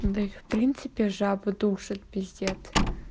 да и в принципе жаба душит пиздец